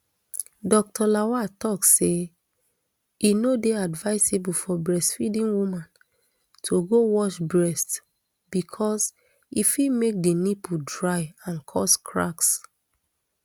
dr lawal tok say e no dey advisable for breastfeeding woman to go wash breast becos e fit make di nipple dry and cause cracks